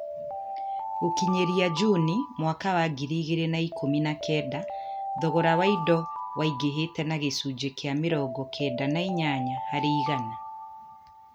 Gũkinyĩria Juni mwaka wa ngiri igĩrĩ na ikũmi na kenda, thogora wa indo waingĩhĩte na gĩcunjĩ kĩa mĩrongo kenda na inyanya harĩ igana.